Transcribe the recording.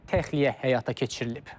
Təxliyə həyata keçirilib.